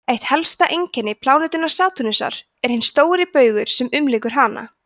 eitt helsta einkenni plánetunnar satúrnusar er hinn stóri baugur sem umlykur hana